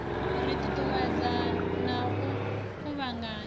ri ṱuṱuwedze na u kuvhanganya